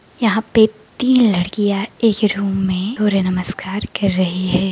यहाँ पे तीन लड़कियां एक रूम में सूर्य नमस्कार कर रही हैं।